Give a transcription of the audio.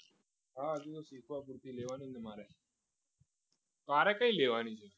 હા હજુ તો શીખવા પૂરતી લેવાની ને મારે તારે કઈ લેવાની છે